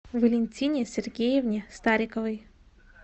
валентине сергеевне стариковой